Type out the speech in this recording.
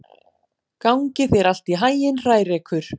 Gangi þér allt í haginn, Hrærekur.